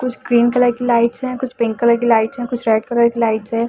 कुछ cream colour की lights हैंकुछ पिंक कलर की लाइट्स हैंकुछ रेड कलर की लाइट्स है।